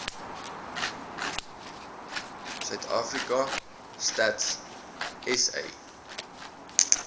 suidafrika stats sa